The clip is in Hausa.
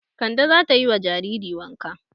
Kande za ta yi wa jariri wanka.